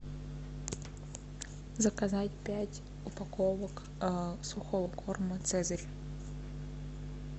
заказать пять упаковок сухого корма цезарь